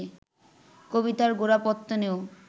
কবিতার গোড়াপত্তনেও